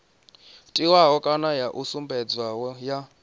tiwaho kana yo sumbedzwaho ya